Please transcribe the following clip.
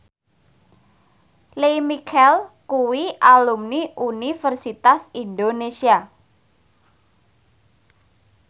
Lea Michele kuwi alumni Universitas Indonesia